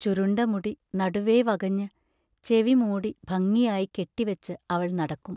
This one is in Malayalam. ചുരുണ്ട മുടി നടുവേ വകഞ്ഞ്, ചെവി മൂടി ഭംഗിയായി കെട്ടിവച്ച് അവൾ നടക്കും.